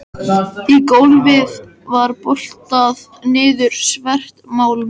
Í gólfið var boltað niður svert málm